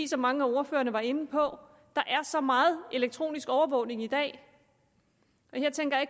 som mange af ordførerne var inde på er så meget elektronisk overvågning i dag her tænker jeg